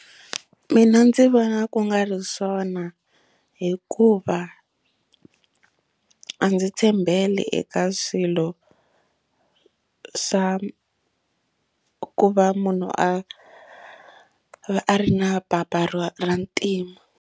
Mina ndzi vona ku nga ri swona hikuva a ndzi tshembeli eka swilo swa ku va munhu a a ri na papa ra ntima.